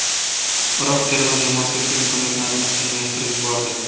Iroq terma jamoasi esa imkoniyatlarini qiyinlashtirib yubordi.